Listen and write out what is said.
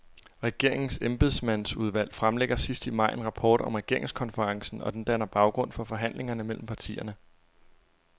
Regeringens embedsmandsudvalg fremlægger sidst i maj en rapport om regeringskonferencen, og den danner baggrund for forhandlingerne mellem partierne.